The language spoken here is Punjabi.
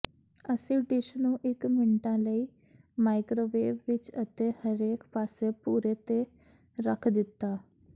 ਅਸੀਂ ਡਿਸ਼ ਨੂੰ ਇਕ ਮਿੰਟਾਂ ਲਈ ਮਾਈਕ੍ਰੋਵੇਵ ਵਿੱਚ ਅਤੇ ਹਰੇਕ ਪਾਸੇ ਭੂਰੇ ਤੇ ਰੱਖ ਦਿੱਤਾ